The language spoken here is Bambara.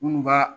Minnu b'a